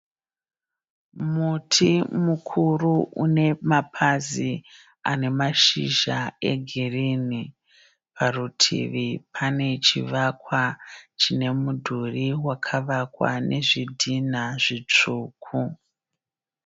Muti mikuru unemapazi anemashizha egirinhi. Parutivi pane chivakwa chine mudhuri wakavakwa nezvidhinha zvitsvuku.